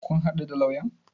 Kun haɗu da lauyan?